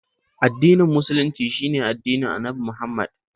Addinin Musulunci shi ne addinin Annabi Muhammad